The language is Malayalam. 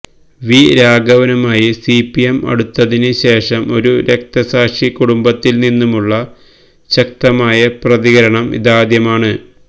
വി രാഘവനുമായി സിപിഎം അടുത്തതിന് ശേഷം ഒരു രക്തസാക്ഷി കുടുംബത്തിൽ നിന്നുള്ള ശക്തമായ പ്രതികരണം ഇതാദ്യമാണ്